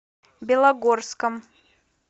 белогорском